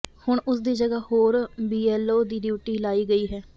ਹੁਣ ਉਸ ਦੀ ਜਗ੍ਹਾ ਹੋਰ ਬੀਐੱਲਓ ਦੀ ਡਿਊਟੀ ਲਾਈ ਗਈ ਹੈ